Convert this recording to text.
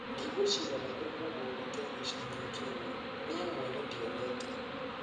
Ndigweciiria nĩkũrĩ mũndũ wonete mbeca nyingĩ ũguo. Nie mwene ndionete.